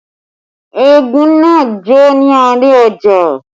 Eégún náà jó ní àárín ọjà